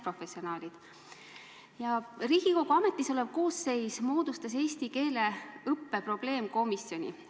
Riigikogu praegune koosseis moodustas eesti keele õppe probleemkomisjoni.